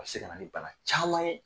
A bɛ se ka na ni bana caman ye